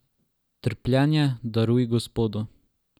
Trpljenje daruj Gospodu.